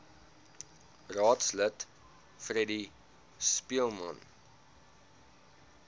raadslid freddie speelman